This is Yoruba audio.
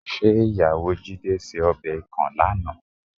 ̀Ṣé ìyàwó Jídé ṣe ọbẹ̀ ikàn lánàá?